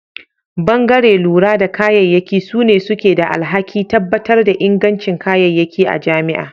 Bangare lura da kayayyaki sune suke da alhaki tabbatar da inganci kayayyaki a jami'a.